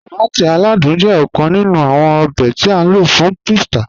Tọmátí aládùn jẹ́ ọ̀kàn nínú awọn òbè tí a ló fún pítsà.